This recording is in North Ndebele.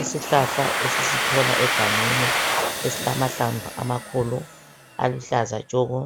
Isihlahla esisithola egangeni esilamahlamvu amakhulu aluhlaza tshoko.